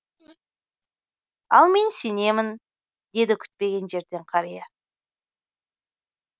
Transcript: ал мен сенемін деді күтпеген жерден қария